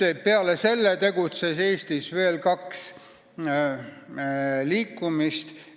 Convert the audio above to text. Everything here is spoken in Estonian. Peale selle tegutses Eestis veel kaks liikumist.